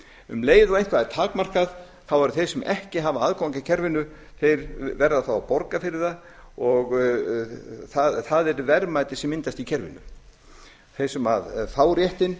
um leið og eitthvað er takmarkað þá verða þeir sem ekki hafa aðgang að kerfinu að borga fyrir það og það er verðmæti sem myndast í kerfinu þeir sé fá réttinn